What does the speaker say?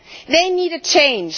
They need a change.